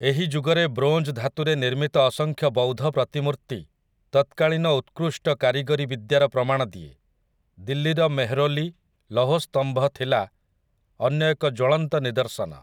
ଏହି ଯୁଗରେ ବ୍ରୋଞ୍ଜ ଧାତୁରେ ନିର୍ମିତ ଅସଂଖ୍ୟ ବୌଦ୍ଧ ପ୍ରତିମୂର୍ତି ତତ୍କାଳୀନ ଉତ୍କୃଷ୍ଟ କାରିଗରୀ ବିଦ୍ୟାର ପ୍ରମାଣ ଦିଏ । ଦିଲ୍ଲୀର ମେହ୍‌ରୌଲି ଲୌହସ୍ତମ୍ଭ ଥିଲା ଅନ୍ୟ ଏକ ଜ୍ୱଳନ୍ତ ନିଦର୍ଶନ ।